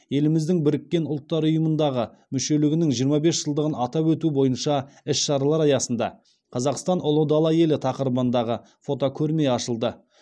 еліміздің біріккен ұлттар ұйымындағы мүшелігінің жиырма бес жылдығын атап өту бойынша іс шаралар аясында қазақстан ұлы дала елі тақырыбындағы фотокөрме ашылды